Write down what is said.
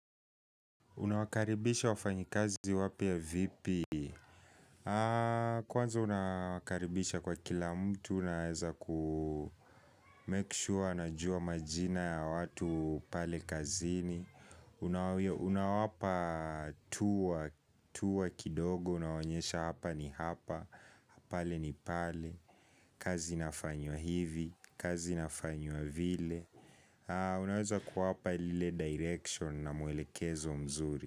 Unawakaribisha wafanyikazi wapya vipi? Kwanza unawakaribisha kwa kila mtu unaweza kumek sure anajua majina ya watu pale kazini. Unawapa "tour", kidogo, unawonyesha hapa ni hapa, pale ni pale, kazi inafanywa hivi, kazi inafanywa vile. Unaweza kuwapa lile direction na muelekezo mzuri.